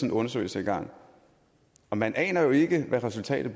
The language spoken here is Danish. en undersøgelse i gang og man aner jo ikke hvad resultatet